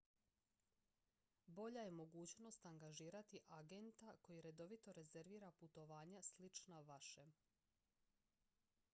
bolja je mogućnost angažirati agenta koji redovito rezervira putovanja slična vašem